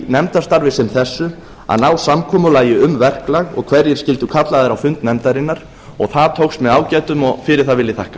nefndarstarfi sem þessu ná samkomulagi um verklag og hverjir skyldu kallaðir á fund nefndarinnar og það tókst með ágætum og fyrir það vil ég þakka